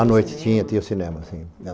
À noite tinha, tinha cinema, sim.